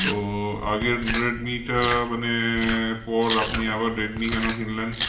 তো আগের রেডিমি টা মানে পর আপনি আবার রেডমি কেন কিনলেন?